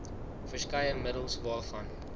verskeie middels waarvan